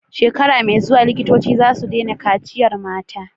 Shekara me zuwa likitoci zasu daina kaciyar mata